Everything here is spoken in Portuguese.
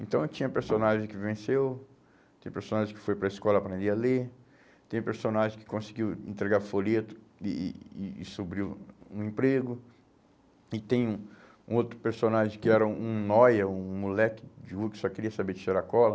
Então, tinha personagem que venceu, tem personagem que foi para a escola aprender a ler, tem personagem que conseguiu entregar folhetos e e e subiu um emprego, e tem um um outro personagem que era um um noia, um moleque de rua que só queria saber de cheirar cola.